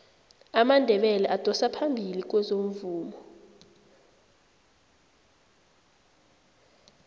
amandebele adosa phambili kwezomvumo